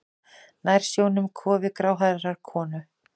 Nær sjónum kofi gráhærðrar konu.